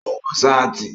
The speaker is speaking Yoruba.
Ó ń wọ sáàtì